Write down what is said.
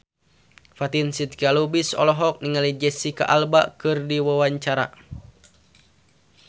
Fatin Shidqia Lubis olohok ningali Jesicca Alba keur diwawancara